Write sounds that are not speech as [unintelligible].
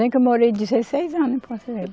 [unintelligible] que eu morei dezesseis anos em Porto Velho